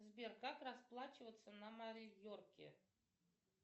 сбер как расплачиваться на майорке